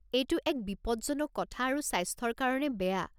এইটো এক বিপজ্জনক কথা আৰু স্বাস্থ্যৰ কাৰণে বেয়া।